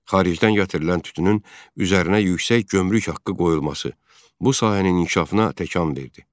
Xaricdən gətirilən tütünün üzərinə yüksək gömrük haqqı qoyulması bu sahənin inkişafına təkan verdi.